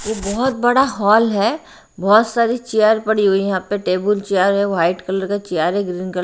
एक बहुत बड़ा हॉल है बहुत सारी चेयर पड़ी हुई हैं यहां पे टेबल चेयर है व्हाइट कलर का चेयर है ग्रीन कलर --